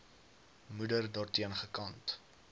moeder daarteen gekant